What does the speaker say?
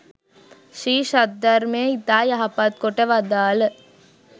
ශ්‍රී සද්ධර්මය ඉතා යහපත් කොට වදාළ